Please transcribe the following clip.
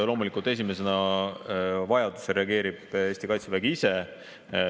Loomulikult esimesena vajaduse korral reageerib Eesti kaitsevägi ise.